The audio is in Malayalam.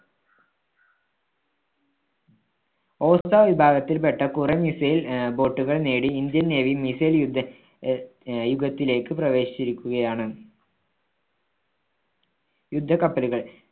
osa വിഭാഗത്തിൽപ്പെട്ട കുറേ missile ആഹ് boat കൾ നേടി ഇന്ത്യൻ നേവി missile യുഗ അഹ് ആഹ് യുഗത്തിലേക്ക് പ്രവേശിച്ചിരിക്കുകയാണ്. യുദ്ധ കപ്പലുകൾ